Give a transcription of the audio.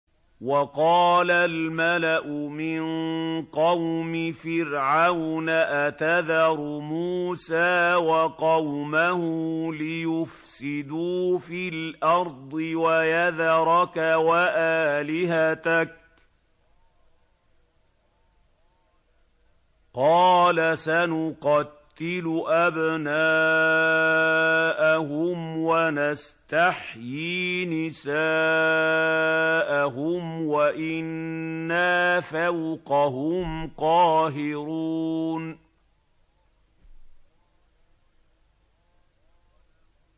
وَقَالَ الْمَلَأُ مِن قَوْمِ فِرْعَوْنَ أَتَذَرُ مُوسَىٰ وَقَوْمَهُ لِيُفْسِدُوا فِي الْأَرْضِ وَيَذَرَكَ وَآلِهَتَكَ ۚ قَالَ سَنُقَتِّلُ أَبْنَاءَهُمْ وَنَسْتَحْيِي نِسَاءَهُمْ وَإِنَّا فَوْقَهُمْ قَاهِرُونَ